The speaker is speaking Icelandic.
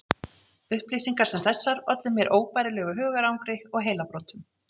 Upplýsingar sem þessar ollu mér óbærilegu hugarangri og heilabrotum.